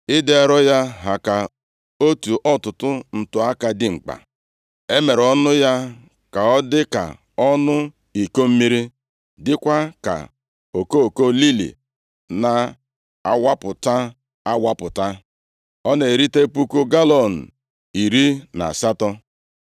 Ịdị arọ ya ha ka otu ọtụtụ ntu-aka dimkpa. E mere ọnụ ya ka ọ dị ka ọnụ iko mmiri, dịkwa ka okoko lili na-awapụta awapụta. Ọ na-erite puku galọọnụ iri na asatọ.